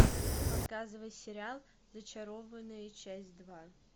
показывай сериал зачарованные часть два